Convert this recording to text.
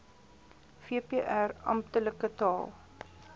vpr amptelike taal